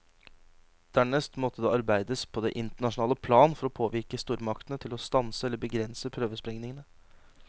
Dernest måtte det arbeides på det internasjonale plan for å påvirke stormaktene til å stanse eller begrense prøvesprengningene.